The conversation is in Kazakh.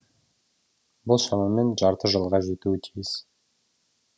бұл шамамен жарты жылға жетуі тиіс